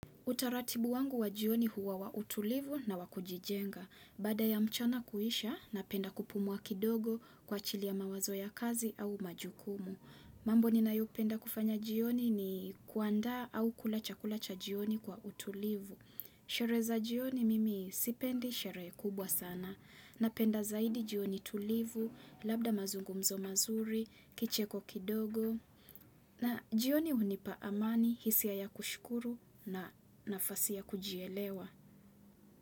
Utaratibu wangu wa jioni huwa wa utulivu na wa kujijenga. Baada ya mchana kuisha, napenda kupumua kidogo kwa ajili ya mawazo ya kazi au majukumu. Mambo ninayopenda kufanya jioni ni kuanda au kula chakula cha jioni kwa utulivu. Sherehe za jioni mimi sipendi sherehe kubwa sana napenda zaidi jioni tulivu, labda mazungumzo mazuri, kicheko kidogo na jioni hunipa amani hisia ya kushukuru na nafasi ya kujielewa.